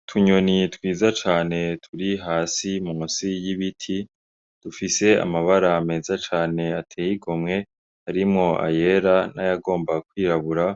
Utunyoni twiza cane turi hasi munsi y'ibiti, dufise amabara meza cane ateye igomwe, harimwo ayera n'ayagomba kwirabura,